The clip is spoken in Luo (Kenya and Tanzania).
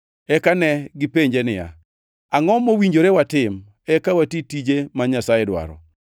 Eka negipenje niya, “Angʼo mowinjore watim eka wati tije ma Nyasaye dwaro?”